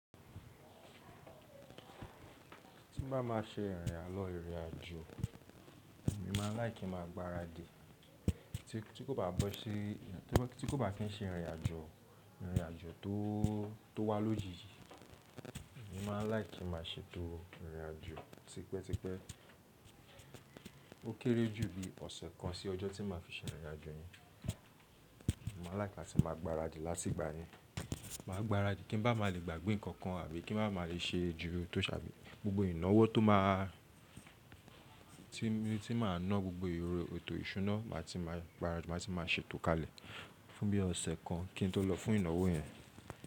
Tí n bá má ṣe ìrìnàlọ́ ìrìnàjò, èmi máa like kí máa gbaradì tí kò bá kí n ṣe ìrìnàjò, ìrìnàjò tó wá lójijì, èmi máa like kí máa ṣètò ìrìnàjò tipẹ́tipẹ́. Ó kéré jù bí ọ̀sẹ̀ kan sí ọjọ́ tí máa fi ṣe ìrìnàjò yẹn. Èmi máa like láti máa gbaradì látìgbà yẹn. Màá gbaradì kí n bá má lè gbàgbé nǹkan kan àbí kí n bá má lè ṣe ju tó sàbí. Gbogbo ìnáwó tó máa, tí máa ná gbogbo èrò, ètò ìṣúná màá ti máa gbaradì, màá ti máa ṣètò kalẹ̀ fún bí ọ̀sẹ̀ kan kí n tó lọ fún ìnáwó yẹn.